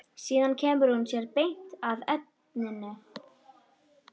Síðan kemur hún sér beint að efninu.